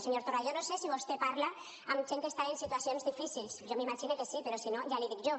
senyor torra jo no sé si vostè parla amb gent que està en situacions difícils jo m’imagine que sí però si no ja l’hi dic jo